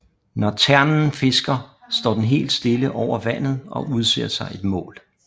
Når ternen fisker står den helt stille over vandet og udser sig et mål